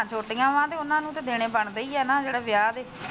ਛੋਟੀਆਂ ਵਾ ਤੇ ਉਹਨਾ ਨੂੰ ਤੇ ਦੇਣੇ ਬਣਦੇ ਹੀ ਨਾ ਜਿਹੜੇ ਵਿਆਹ ਦੇ।